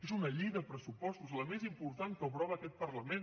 és una llei de pressupostos la més important que aprova aquest parlament